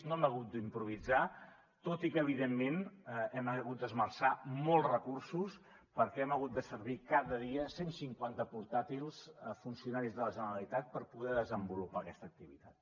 no hem hagut d’improvisar tot i que evidentment hem hagut d’esmerçar molts recursos perquè hem hagut de servir cada dia cent cinquanta portàtils a funcionaris de la generalitat per poder desenvolupar aquesta activitat